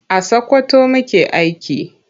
A Sakwkwato muke aiki.